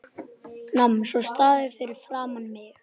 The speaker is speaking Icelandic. Nam svo staðar fyrir framan mig.